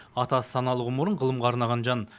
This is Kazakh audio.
атасы саналы ғұмырын ғылымға арнаған жан